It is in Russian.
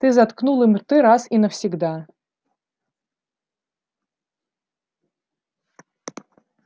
ты заткнул им рты раз и навсегда